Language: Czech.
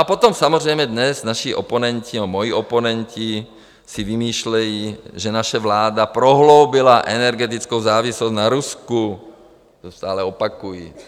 A potom samozřejmě dnes naši oponenti, nebo moji oponenti si vymýšlejí, že naše vláda prohloubila energetickou závislost na Rusku, to stále opakují.